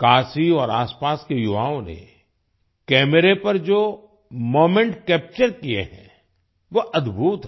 काशी और आसपास के युवाओं ने कैमरे पर जो मोमेंट कैप्चर किए हैं वो अदभुत हैं